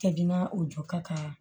Jiginna o jɔ ka kan